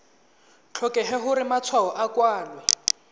tlhokege gore matshwao a kwalwe